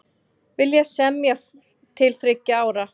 Vilja semja til þriggja ára